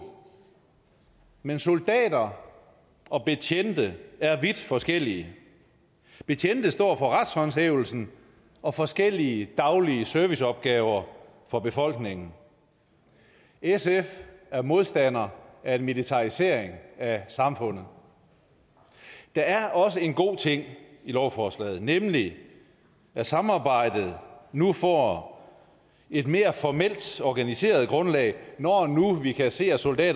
men soldater og betjente er vidt forskellige betjente står for retshåndhævelsen og forskellige daglige serviceopgaver for befolkningen sf er modstander af en militarisering af samfundet der er også en god ting i lovforslaget nemlig at samarbejdet nu får et mere formelt organiseret grundlag når nu vi kan se at soldater